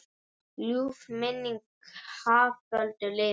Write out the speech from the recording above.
Ljúf minning Haföldu lifir.